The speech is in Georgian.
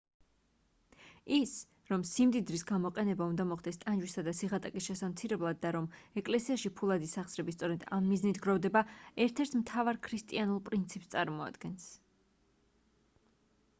ის რომ სიმდიდრის გამოყენება უნდა მოხდეს ტანჯვისა და სიღატაკის შესამცირებლად და რომ ეკლესიაში ფულადი სახსრები სწორედ ამ მიზნით გროვდება ერთ-ერთ მთავარ ქრისტიანულ პრინციპს წარმოადგენს